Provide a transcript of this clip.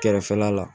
Kɛrɛfɛla la